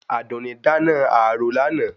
Àdùnní dáná àrò lánàá